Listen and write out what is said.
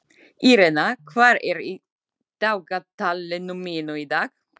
Irena, hvað er í dagatalinu mínu í dag?